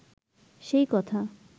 সেই কথা